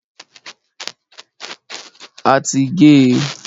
A ti gé e.